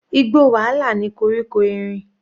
Igbó wàhálà ni koríko erin.